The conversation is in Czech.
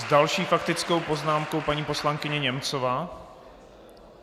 S další faktickou poznámkou paní poslankyně Němcová.